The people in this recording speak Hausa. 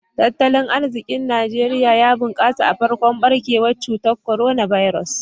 Tattalin arzikin Najeriya ya bunkasa a farkon barkewar cutar Coronavirus.